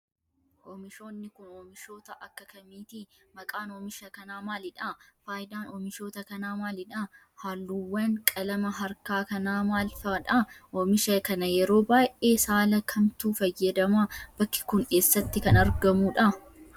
Oomishoonni kun oomishoota akka kamiiti? Maqaan oomisha kanaa maalidha? Faayidaan oomishoota kanaa maalidha? Haalluuwwan qalama harkaa kanaa maal faadha? Oomisha kana yeroo baay'ee saala kamtu fayyadama? Bakki kun, eessatti kan argamuudha?